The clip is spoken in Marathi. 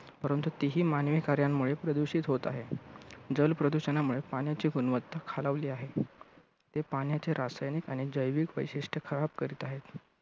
परंतु ती ही मानवी कार्यांमुळे प्रदूषित होत आहे. जल प्रदूषणामुळे पाण्याची गुणवत्ता खालावली आहे. ते पाण्याचे रासायनिक आणि जैविक वैशिष्ट्य खराब करीत आहे.